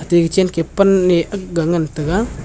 taike chenke panh ae agga ngan taega.